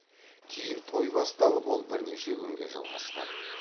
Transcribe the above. кейін той басталып ол бірнеше күнге жалғасқан